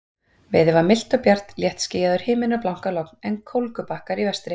Veður var milt og bjart, léttskýjaður himinn og blankalogn, en kólgubakkar í vestri.